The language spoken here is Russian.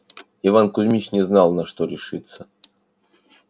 иван кузмич не знал на что решиться